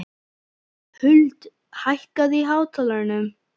Huld, hækkaðu í hátalaranum.